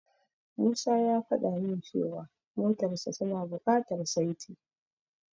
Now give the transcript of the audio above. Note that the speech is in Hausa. Musa ya fada min cewa motarsa tana bukatar saiti.